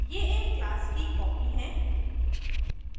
ये एक class की copy हैं